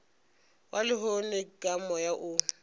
wa lehono ka moya o